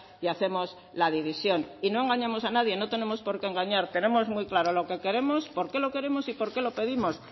y hacemos la división y no engañamos a nadie no tenemos porqué engañar tenemos muy claro lo que queremos porqué lo queremos y porqué lo pedimos